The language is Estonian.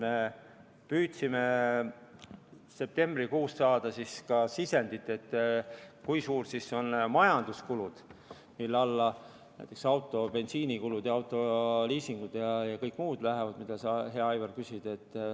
Me püüdsime septembrikuus saada ka sisendit, kui suured siis on majanduskulud, mille alla lähevad näiteks auto bensiinikulud ja autoliisingud ja kõik muud kulud, mida sa, hea Aivar, küsisid.